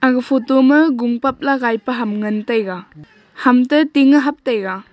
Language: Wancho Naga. aga photo ma gung pap la gaipe ham ngan taiga ham te ting hap taiga.